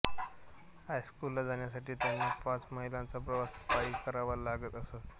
हायस्कूलला जाण्यासाठी त्यांना पाच मैलाचा प्रवास पायी करावा लागत असे